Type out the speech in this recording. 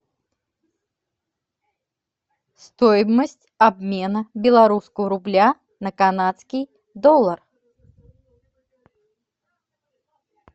стоимость обмена белорусского рубля на канадский доллар